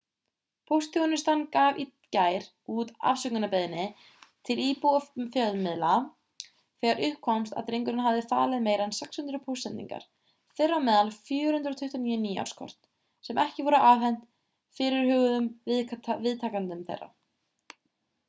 póstþjónustan gaf í gær út afsökunarbeiðni til íbúa og fjölmiðla þegar upp komst að drengurinn hafði falið meira en 600 póstsendingar þeirra á meðal 429 nýárskort sem ekki voru afhent fyrirhuguðum viðtakendum þeirra